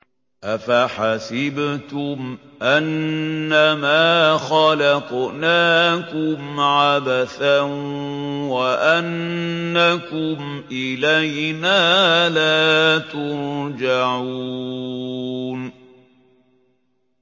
أَفَحَسِبْتُمْ أَنَّمَا خَلَقْنَاكُمْ عَبَثًا وَأَنَّكُمْ إِلَيْنَا لَا تُرْجَعُونَ